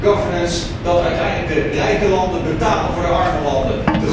governance dat uiteindelijk de rijke landen betalen voor de arme landen?